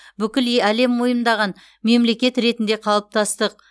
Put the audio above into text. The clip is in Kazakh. бүкіл е әлем мойындаған мемлекет ретінде қалыптастық